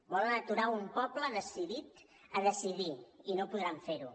volen aturar un poble decidit a decidir i no podran fer ho